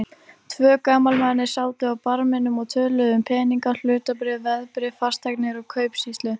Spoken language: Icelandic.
Tvö gamalmenni sátu á barminum og töluðu um peninga, hlutabréf, veðbréf, fasteignir og kaupsýslu.